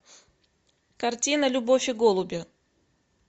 картина любовь и голуби